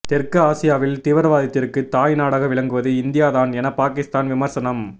தெற்கு ஆசியாவில் தீவிரவாதத்திற்கு தாய் நாடாக விளங்குவது இந்தியா தான் என பாகிஸ்தான் விமர்சனம்